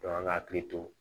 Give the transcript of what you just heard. Dɔn an ka hakili to